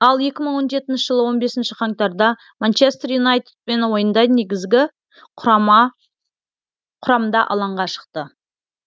ал екі мың он жетінші жылы он бесінші қаңтарда манчестер юнайтедпен ойында негізгі құрамда алаңға шықты